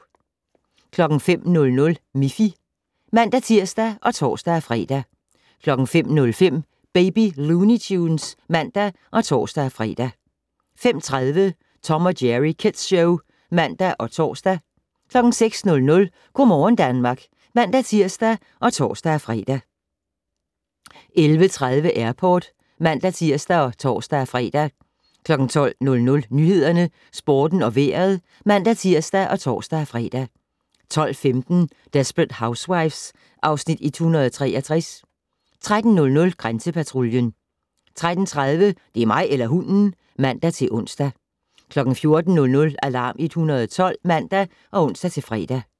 05:00: Miffy (man-tir og tor-fre) 05:05: Baby Looney Tunes (man og tor-fre) 05:30: Tom & Jerry Kids Show (man og tor) 06:00: Go' morgen Danmark (man-tir og tor-fre) 11:30: Airport (man-tir og tor-fre) 12:00: Nyhederne, Sporten og Vejret (man-tir og tor-fre) 12:15: Desperate Housewives (Afs. 163) 13:00: Grænsepatruljen 13:30: Det er mig eller hunden! (man-ons) 14:00: Alarm 112 (man og ons-fre)